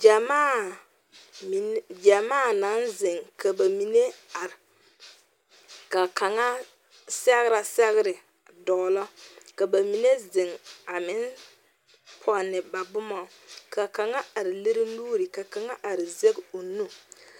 Gyɛmaa min gyɛmaa naŋ zeŋ ka ba mine are ka kaŋa sɛgrɛ sɛgre dɔɔnɔ ka ba mine zeŋ a meŋ pɔnne ba boma ka kaŋa are lere nuure ka kaŋa are zage o nu.